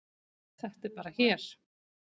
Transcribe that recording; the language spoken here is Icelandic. Þetta er bara hér.